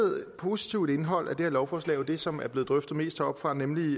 positivt indhold i det her lovforslag er det som er blevet drøftet mest heroppefra nemlig